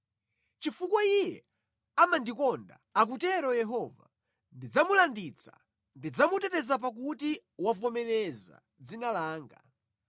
“Chifukwa iye amandikonda,” akutero Yehova, “Ndidzamulanditsa; ndidzamuteteza pakuti wavomereza dzina langa.